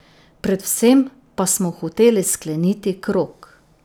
Predvsem pa smo hoteli skleniti krog.